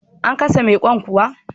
A ka sa mai Kwan kuwa?